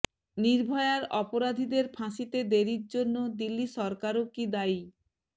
নির্ভয়ার অপরাধীদের ফাঁসিতে দেরির জন্য দিল্লি সরকারও কি দায়ী